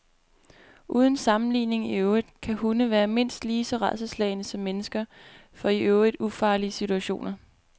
Uden sammenligning i øvrigt kan hunde være mindst lige så rædselsslagne som mennesker for i øvrigt ufarlige situationer.